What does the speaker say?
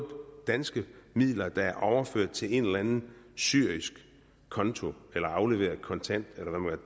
danske midler der er overført til en eller anden syrisk konto eller afleveret kontant